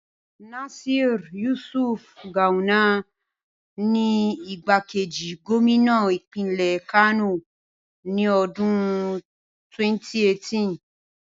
Nasir Yusuf Gawuna ni igbákejì gómínà ìpínlẹ̀ Kano ní ọdún 2018.